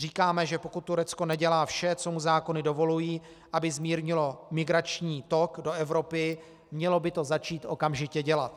Říkáme, že pokud Turecko nedělá vše, co mu zákony dovolují, aby zmírnilo migrační tok do Evropy, mělo by to začít okamžitě dělat.